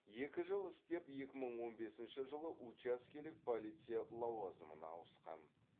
екі жыл істеп екі мың он бесінші жылы учаскелік полиция лауазымына ауыстқан